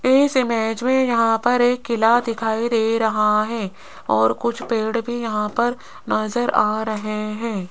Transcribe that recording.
इस इमेज में यहां पर एक किला दिखाई दे रहा है और कुछ पेड़ भी यहां पर नजर आ रहे हैं।